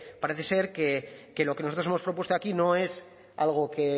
parece ser que lo que nosotros hemos propuesto aquí no es algo que